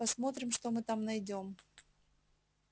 посмотрим что мы там найдём